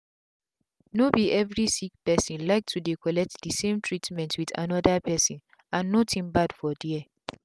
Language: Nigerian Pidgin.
no be every sick person like to dey collect the same treatment with another person and nothing bad for there.